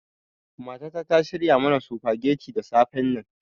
Matata ta shirya mana sufageti da safennan.